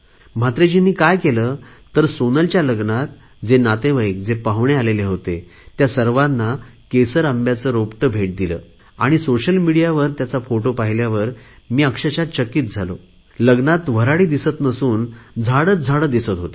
महात्रेजींनी काय केले सोनलच्या लग्नात आलेले सर्व नातेवाईक पाहुणे आले होते ह्या सर्वांना केसर आंब्याचं रोपटं भेटीच्या स्वरुपात दिले आणि सोशल मिडियावर त्याचा फोटो पाहिल्यावर मी चकित झालो लग्नात वऱ्हाडी दिसत नसून झाडेच झाडे दिसत होती